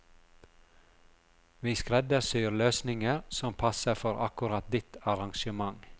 Vi skreddersyr løsninger som passer for akkurat ditt arrangement.